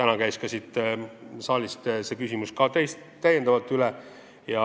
Ka täna siin saalis käidi see küsimus täiendavalt üle.